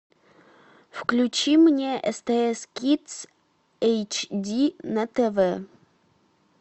включи мне стс кидс эйч ди на тв